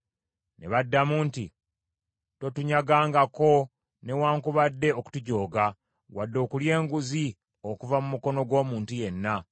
Ne baddamu nti, “Totunyagangako newaakubadde okutujooga, wadde okulya enguzi okuva mu mukono gw’omuntu yenna.”